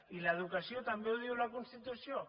i l’educació també ho diu la constitució